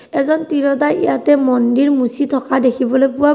এজন তিৰোতাই ইয়াতে মন্দিৰ মুছি থকা দেখিবলৈ পোৱা গ--